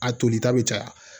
A tolita bi caya